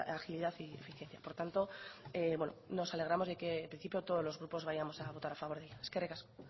agilidad y eficiencia por tanto nos alegramos de que en principio todos los grupos vayamos a votar a favor de ello eskerrik asko